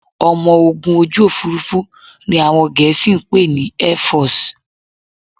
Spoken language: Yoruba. Ọmọ ogun ojú òfurufú ni àwọn Gẹ̀ẹ́sì ń pè ní Airforce